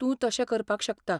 तूं तशें करपाक शकता.